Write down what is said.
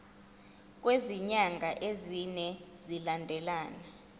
kwezinyanga ezine zilandelana